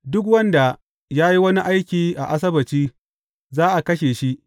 Duk wanda ya yi wani aiki a Asabbaci, za a kashe shi.